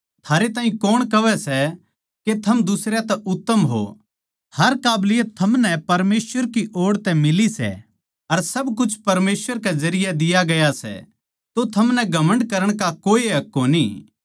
थारै ताहीं कौण कहवै सै के थम दुसरयां तै उत्तम हो हर काबलियत थमनै परमेसवर की ओड़ तै मिली सै अर सब कुछ परमेसवर के जरिये दिया गया सै तो थमनै घमण्ड करण का कोए हक कोनी